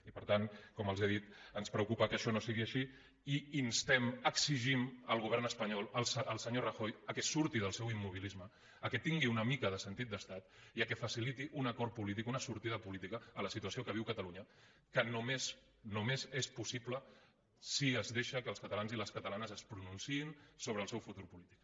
i per tant com els he dit ens preocupa que això no sigui així i instem exigim al govern espanyol al senyor rajoy que surti del seu immobilisme que tingui una mica de sentit d’estat i que faciliti un acord polític una sortida política a la situació que viu catalunya que només només és possible si es deixa que els catalans i les catalanes es pronunciïn sobre el seu futur polític